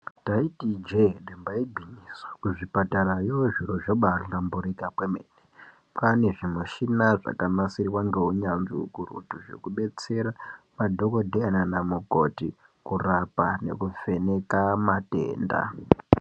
Ndaiti ijee damba igwinyiso, kuzvipatarayo zviro zvabaahlamburika kwemene. Kwaane zvimushina zvakanasirwa ngeunyanzvi ukurutu zvekubetsera madhokodheya naanamukoti ,kurapa nekuvheneka matenda.